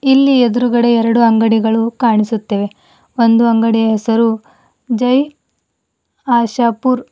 ಇಲ್ಲಿ ಎದ್ರುಗಡೆ ಎರಡು ಅಂಗಡಿಗಳು ಕಾಣಿಸುತ್ತಿವೆ ಒಂದು ಅಂಗಡಿಯ ಹೆಸರು ಜೈ ಆಶಾಪುರ್--